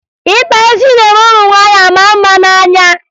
Ịkpa isi na-eme ụmụ nwaanyị a maa mma n'anya